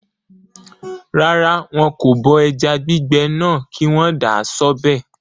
Rárá, wọn kò bọ ẹja gbígbẹ náà kí wọ́n dà á sọ́bẹ̀